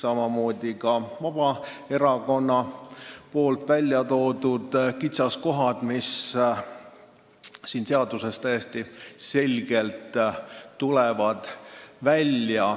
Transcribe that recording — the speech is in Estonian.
Ja kogu tema erakonna välja toodud kitsaskohad ilmnevad selles eelnõus täiesti selgelt.